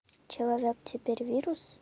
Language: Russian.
человек теперь вирус